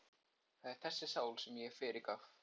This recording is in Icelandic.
Það var þessari sál sem ég fyrirgaf.